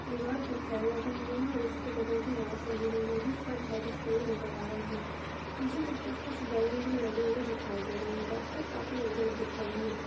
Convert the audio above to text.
दिवार पर फैन लागया हुआ है और उसके बगल मै वॉच लागी हुई है जिसपर ढाय बजते हुए नजर आ रहे है पीछे की तरफ कूछ बलून्स भी लगे हुए दिखाई दे रहे है डॉक्टर काफी एज्ड दिख रहे है।